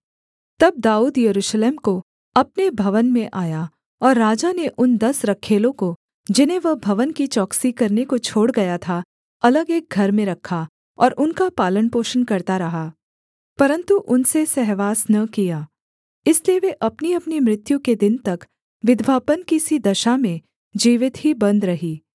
तब दाऊद यरूशलेम को अपने भवन में आया और राजा ने उन दस रखैलों को जिन्हें वह भवन की चौकसी करने को छोड़ गया था अलग एक घर में रखा और उनका पालनपोषण करता रहा परन्तु उनसे सहवास न किया इसलिए वे अपनीअपनी मृत्यु के दिन तक विधवापन की सी दशा में जीवित ही बन्द रहीं